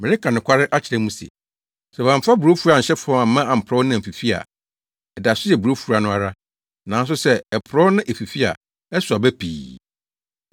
Mereka nokware akyerɛ mo se, sɛ wɔamfa burofua anhyɛ fam amma amporɔw na amfifi a, ɛda so yɛ burofua no ara, nanso sɛ ɛporɔw na efifi a, ɛsow aba pii.